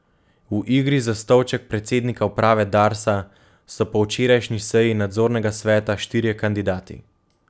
V igri za stolček predsednika uprave Darsa so po včerajšnji seji nadzornega sveta štirje kandidati.